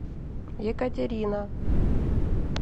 екатерина